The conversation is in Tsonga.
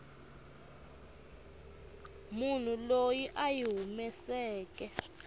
munhu loyi a yi humeseke